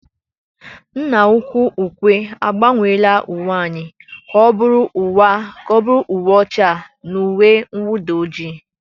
Nna-ukwu ukwe agbanweela uwe anyị ka ọ bụrụ uwe ọcha na uwe mwụda ojii.